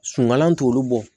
Suman t'olu bɔ